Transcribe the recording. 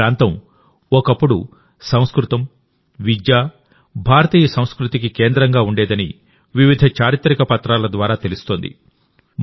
ఈ ప్రాంతం ఒకప్పుడు సంస్కృతం విద్య భారతీయ సంస్కృతికి కేంద్రంగా ఉండేదని వివిధ చారిత్రక పత్రాల ద్వారా తెలుస్తోంది